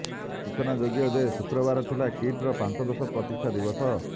ସୂଚନାଯୋଗ୍ୟ ଯେ ଶୁକ୍ରବାର ଥିଲା କିଟର ପଞ୍ଚଦଶ ପ୍ରତିଷ୍ଠା ଦିବସ